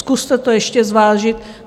Zkuste to ještě zvážit.